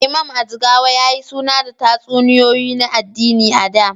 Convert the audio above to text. Imam, a Jigawa, ya yi suna da tatsuniyoyi na addini a da.